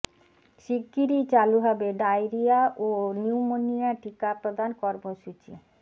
শিগগিরই চালু হবে ডায়রিয়া ও নিউমোনিয়া টিকা প্রদান কর্মসূচি